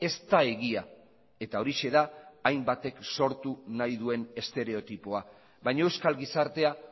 ez da egia eta horixe da hainbatek sortu nahi duen estereotipoa baina euskal gizartea